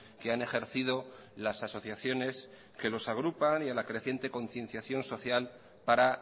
que han ejercido las asociaciones que los agrupan y a la creciente concienciación social para